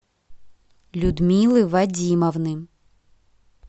людмилы вадимовны